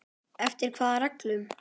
Eftir hvaða reglum?